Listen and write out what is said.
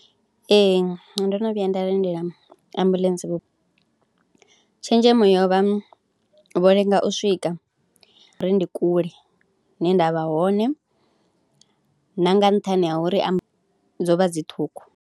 Ee ndo no vhuya nda lindela ambuḽentse, tshenzhemo yo vha, vho lenga u swika ngauri ndi kule hune nda vha hone na nga nṱhani ha uri amuḽentse dzo vha dzi ṱhukhu.